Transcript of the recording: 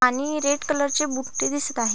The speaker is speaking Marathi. आणि रेड कलर चे बुट्टे दिसत आहे.